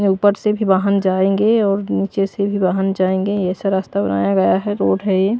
ऊपर से भी वाहन जाएंगे और नीचे से भी वाहन जाएंगे ऐसा रास्ता बनाया गया है रोड है ये--